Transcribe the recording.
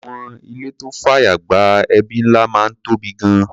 Àwọn ìlé tó fàyè gba ẹbí ńlá máa ń tóbi gan-an.